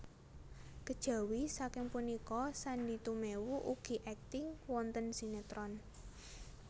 Kejawi saking punika Sandy Tumewu ugi akting wonten sinetron